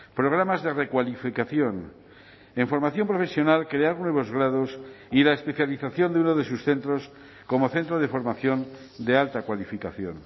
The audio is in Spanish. programas de recualificación en formación profesional crear nuevos grados y la especialización de uno de sus centros como centro de formación de alta cualificación